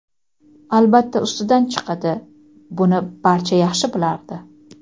albatta ustidan chiqadi — buni barcha yaxshi bilardi.